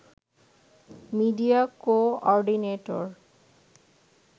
media coordinator